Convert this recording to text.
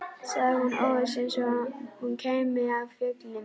sagði hún óviss, eins og hún kæmi af fjöllum.